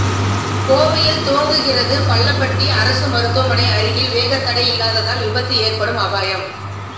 கோவையில் துவங்குகிறது பள்ளப்பட்டி அரசு மருத்துவமனை அருகில் வேகத்தடை இல்லாததால் விபத்து ஏற்படும் அபாயம்